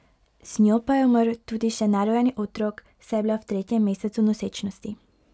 Z njo pa je umrl tudi še nerojeni otrok, saj je bila v tretjem mesecu nosečnosti.